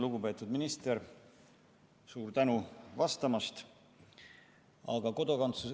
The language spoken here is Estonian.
Lugupeetud minister, suur tänu vastamast!